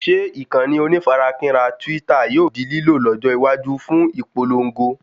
Ṣe ìkànnì onífarakínra Twitter yóò di lílò lọ́jọ́ iwájú fún ìpòlongo?